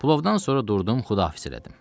Pulovdan sonra durdum, xüdafiz elədim.